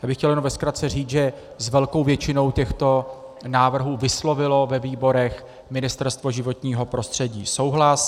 Já bych chtěl jenom ve zkratce říct, že s velkou většinou těchto návrhů vyslovilo ve výborech Ministerstvo životního prostředí souhlas.